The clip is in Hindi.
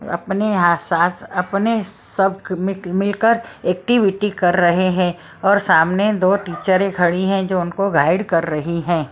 अपने यहां साथ अपने सब मिलकर एक्टिविटी कर रहे हैं और सामने दो टीचर खड़ी हैं जो उनको गाइड कर रही है।